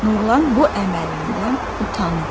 Nurlan bu əməlindən utandı.